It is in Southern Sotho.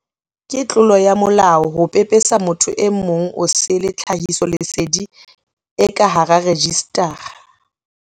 Ke tlolo ya molao ho pepesetsa motho e mong osele tlhahisoleseding e ka hara rejistara.